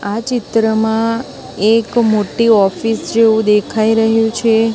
આ ચિત્રમાં એક મોટ્ટી ઑફિસ જેવુ દેખાય રહ્યુ છે.